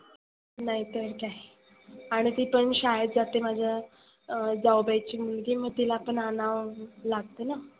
नाहीतर काय. आणि ती पण शाळेत जाते माझ्या जाऊबाईची मुलगी मग तीला पण आनाव लागतंना.